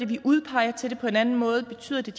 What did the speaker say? vi udpeger til det på en anden måde betyder det